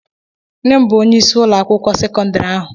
Nne m bụ onyeisi ụlọ akwụkwọ sekọndrị ahụ.